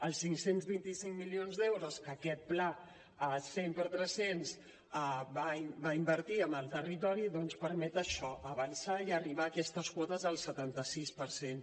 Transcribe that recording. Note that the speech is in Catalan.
els cinc cents i vint cinc milions d’euros que aquest pla 100x300 va invertir en el territori doncs permet això avançar i arribar a aquestes quotes del setanta sis per cent